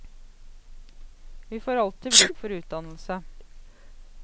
Vi får alltid bruk for utdannelse.